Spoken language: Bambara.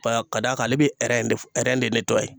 Ka d'a kan ale bɛ de de